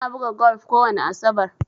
Ina buga golf kowani asabar.